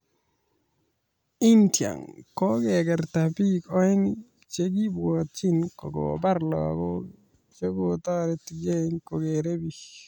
India :kokekerta biik oeng che Kibwatjin kokobar lagok che 'kotoretgei kokere biik'